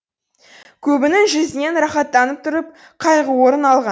көбінің жүзінен рахаттанып тұрып қайғы орын алған